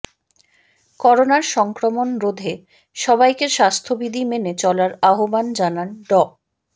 করোনার সংক্রমণ রোধে সবাইকে স্বাস্থ্যবিধি মেনে চলার আহ্বান জানান ড